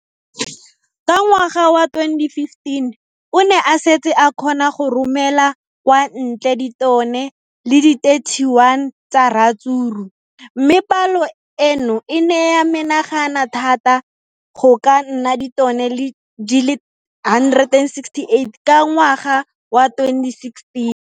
Ka ngwaga wa 2015, o ne a setse a kgona go romela kwa ntle ditone di le 31 tsa ratsuru mme palo eno e ne ya menagana thata go ka nna ditone di le 168 ka ngwaga wa 2016.